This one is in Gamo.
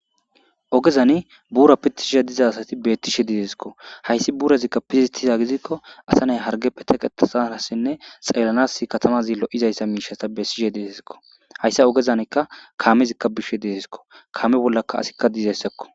Ogezani bura pitishe diza asazi betesiko haysi nurazila pitetiza gidiko asa nayti hargepe teqetanasinne xeelanas katamazi lo'iza mishaza besishe de'esiko haysa ogezan kamezi beshe desiko kame bolla asika dizaysao